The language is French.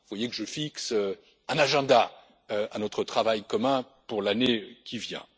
an. Vous voyez que je fixe un agenda à notre travail commun pour l'année qui vient.